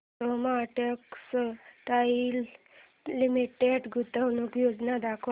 Soma Textile Limited गुंतवणूक योजना दाखव